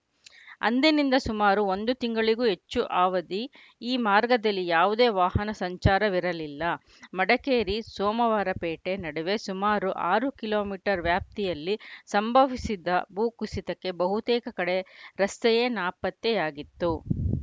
ಅಂದಿನಿಂದ ಸುಮಾರು ಒಂದು ತಿಂಗಳಿಗೂ ಹೆಚ್ಚು ಅವಧಿ ಈ ಮಾರ್ಗದಲ್ಲಿ ಯಾವುದೇ ವಾಹನ ಸಂಚಾರವಿರಲಿಲ್ಲ ಮಡಿಕೇರಿಸೋಮವಾರಪೇಟೆ ನಡುವೆ ಸುಮಾರು ಆರು ಕಿಲೊ ಮೀಟರ್ ವ್ಯಾಪ್ತಿಯಲ್ಲಿ ಸಂಭವಿಸಿದ ಭೂಕುಸಿತಕ್ಕೆ ಬಹುತೇಕ ಕಡೆ ರಸ್ತೆಯೇ ನಾಪತ್ತೆಯಾಗಿತ್ತು